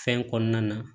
Fɛn kɔnɔna na